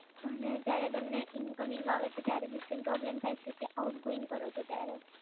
અને જયારે તમને ઇનકમિંગ આવે છે ત્યારે બી same પ્રોબ્લેમ થાય છે કે આઉટગોઇંગ કરો છો ત્યારે?